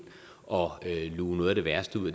og luge noget af det værste ud